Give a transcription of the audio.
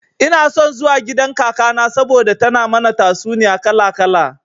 Ina son zuwa gidan kakana saboda tana mana tatsuniya kala kala.